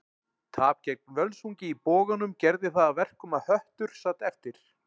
Tap gegn Völsungi í Boganum gerði það að verkum að Höttur sat eftir.